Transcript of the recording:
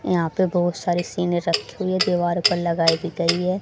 यहां पे बहोत सारे सीन रखी हुई है दीवार पर लगाई भी गई है।